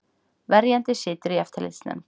Verjandi situr í eftirlitsnefnd